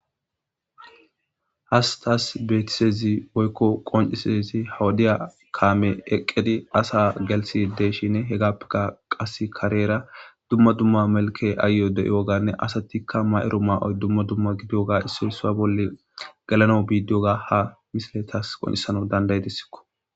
Hastas beetisezi woykko qoncisezi hawudiya kaame eqqedi asa gelsi deeshinne he gappeka qas kareera dumma dumma melke aayyo de'iyo ganne asatikka ma'ero maa'oy dumma dumma gidiyoga issoy sua bolle galano biidiyoga ha misiletas qoncisano danday dissikko.